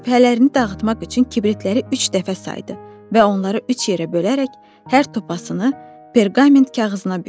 Şübhələrini dağıtmaq üçün kibritləri üç dəfə saydı və onları üç yerə bölərək hər topasını perqament kağızına bükdü.